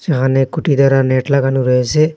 এখানে খুঁটি দ্বারা নেট লাগানো রয়েসে।